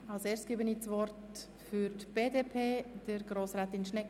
Das Wort ist frei für die Fraktionen.